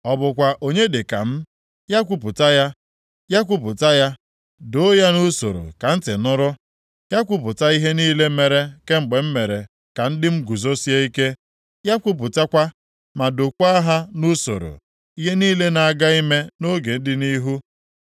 Ọ bụkwa onye dị ka m? Ya kwupụta ya. Ya kwupụta ya, doo ya nʼusoro ka ntị nụrụ! Ya kwupụta ihe niile mere kemgbe m mere ka ndị m guzosie ike. Ya kwupụtakwa, ma dokwaa ha nʼusoro, ihe niile na-aga ime nʼoge dị nʼihu.